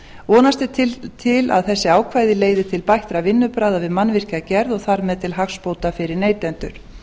vonast er til að þessi ákvæði leiði til bættra vinnubragða við mannvirkjagerð og þar með til hagsbóta fyrir neytendur